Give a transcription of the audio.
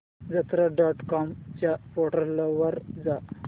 यात्रा dot com च्या portal वर जा